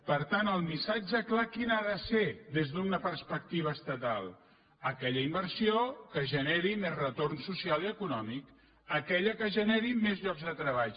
per tant el missatge clar quin ha de ser des d’una perspectiva estatal aquella inversió que generi més retorn social i econòmic aquella que generi més llocs de treball